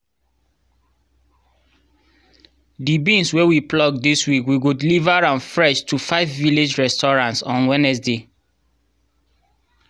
the beans wey we pluck this week we go deliver am fresh to five village restaurants on wednesday